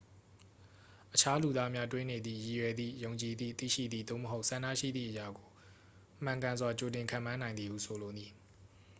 အခြားလူသားများ တွေးနေသည့် ရည်ရွယ်သည့် ယုံကြည်သည့် သိရှိသည့် သို့မဟုတ် ဆန္ဒရှိသည့်အရာကို မှန်ကန်စွာ ကြိုတင်ခန့်မှန်းနိုင်သည်ဟု ဆိုလိုသည်